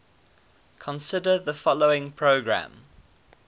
consider the following program